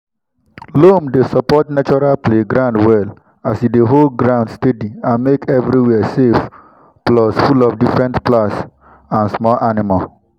loam dey support natural playground well as e dey hold ground steady and make everywhere safe plus full of different plants and small animals.